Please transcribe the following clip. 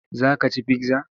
Za ka ci pizza?